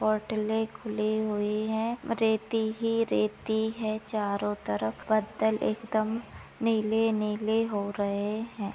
होटले खुली हुई है रेती ही रेती है चारों तरफ पत्थर एकदम नीले नीले हो रहे है।